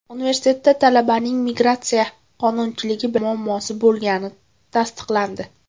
Universitetda talabaning migratsiya qonunchiligi bilan muammosi bo‘lgani tasdiqlandi.